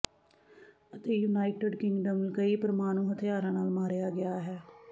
ਅਤੇ United Kingdom ਕਈ ਪਰਮਾਣੂ ਹਥਿਆਰਾਂ ਨਾਲ ਮਾਰਿਆ ਗਿਆ ਹੈ